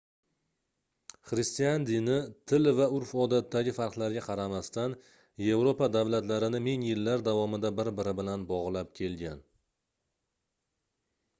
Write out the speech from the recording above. xristian dini til va urf-odatdagi farqlarga qaramasdan yevropa davlatlarini ming yillar davomida bir-biri bilan bogʻlab kelgan